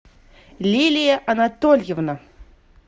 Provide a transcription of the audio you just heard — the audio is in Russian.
лилия анатольевна